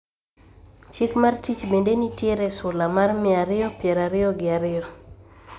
Chik mar tich bende nitiere e sula mar mia ariyo piero ariyo gi ariyo